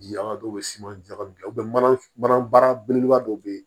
Ji an ka dɔw bɛ siman ɲagami kɛ u bɛ mana belebeleba dɔ bɛ ye